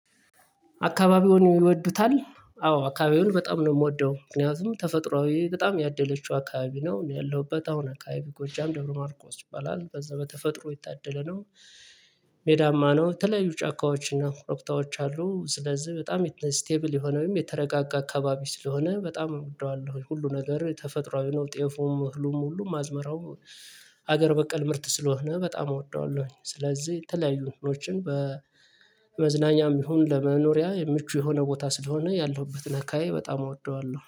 አካባቢውን ይወዱታል አዎ አካባቢውን በጣም ነው እምወደው ምክንያቱም ተፈጥሮአዊ በጣም ያደለችው አካባቢ ነው እኔ ያለሁበት አሁን አካባቢ ጎጃም ድብረ ማርቆስ ይባላል በዛ በተፈጥሮ ይታደለ ነው። ሜዳማ ነው የተለያዩ ጫካዎችና ኮሮብታዎች አሉ። ስለዚህ በጣም ስቴብል የሆነ ወይም የተረጋጋ አካባቢ ስለሆነ በጣም እወደዋለሁ። ሁሉ ነገር ተፈጥሮአዊ ነው ጤፉም እህሉም ሁሉም አዝመራው ሀገር በቀል ምርት ስለሆነ በጣም እወደዋለሁኝ። ስለዚህ የተለያዩ እህሎችን በመዝናኛም ይሁን ለመኖሪያ የምቹ የሆነ ቦታ ስለሆነ ያለሁበት አከባቢ በጣም እወደዋለሁ